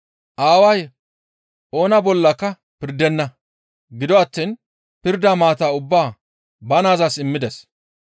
Aaway oona bollaka pirdenna; gido attiin pirda maata ubbaa ba naazas immides.